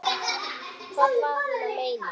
Hvað var hún að meina?